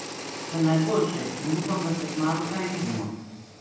Vse najboljše in upam, da se kmalu kaj vidimo!